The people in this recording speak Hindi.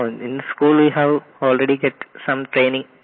no in school we have already get some training